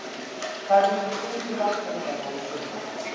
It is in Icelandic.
Það hefur gengið ágætlega í sumar.